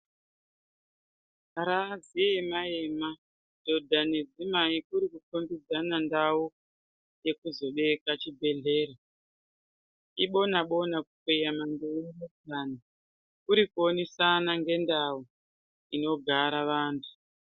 Raziema ema dhodha nedzimai kuri kukombidzane ndau yekuzobeja chibhedhleya, ibona bona kukweyana nzee nepurani kuri kuonesana ngendau inogara vantu.